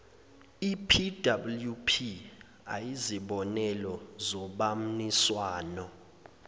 epwp ayizibonelo zobamniswano